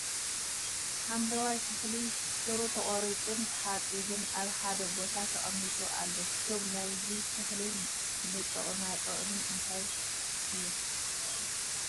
ሓምለዋይ ተክሊ ሱሩ ተቆሪፁ ን ተሓፂቡን እብ ሓደ ቦታ ተቀሚጡ ኣሎ ። ሹም ናይዚ ተክሊ ን ጥቅማ ጥቅሚ እንታይ እዩ ?